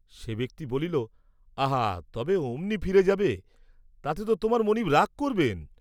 সে ব্যক্তি বলিল, আহা, তবে অমনি ফিরে যাবে, তাতে তো তোমার মনীব রাগ করবেন?